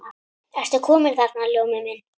Ertu kominn þarna, Ljómi minn.